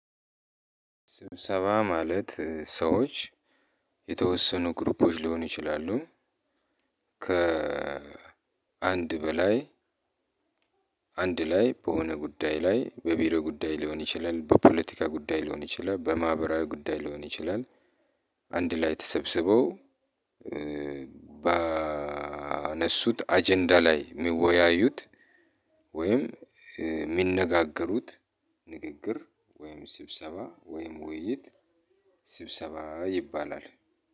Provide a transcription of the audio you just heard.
ስብሰባ ማለት ሰዎች የተወሰኑ ግሩፖች ሊሆኑ ይችላሉ ከ አንድ በላይ አንድ ላይ በሆነ ጉዳይ ላይ በቢሮ ጉዳይ ሊሆን ይችላል በፖለቲካ ጉዳይ ሊሆን ይችላል በማህበራዊ ጉዳይ ሊሆን ይችላል። አንድ ላይ ተሰብስበው ባነሱት አጀንዳ ላይ የሚወያዩት ወይም የሚነጋገሩት ንግግር ወይም ስብሰባ ወይም ውይይት ስብሰባ ይባላል።